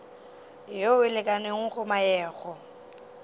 yeo e lekanego go meago